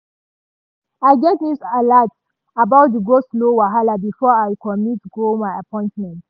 i get news alat about di go-slow wahala before i commit go my appointment.